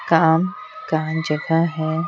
काम कान जगह है।